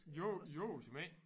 Jo jo såmænd